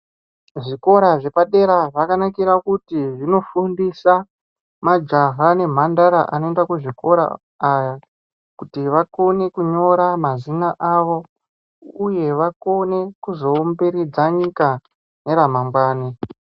Zvikora zvepadera zvakanakira pakuti zvinofundisa majaha nemhandara anoenda kuzvikora kuti vakone kunyora mazina avo uye vakone kuzoumbiridza nyika neramangwani.